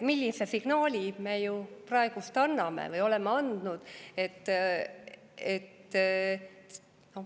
Millise signaali me praegu anname või oleme andnud?